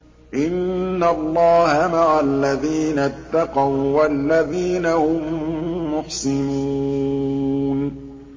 إِنَّ اللَّهَ مَعَ الَّذِينَ اتَّقَوا وَّالَّذِينَ هُم مُّحْسِنُونَ